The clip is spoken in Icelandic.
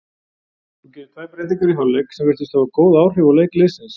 Þú gerir tvær breytingar í hálfleik sem virtust hafa góð áhrif á leik liðsins?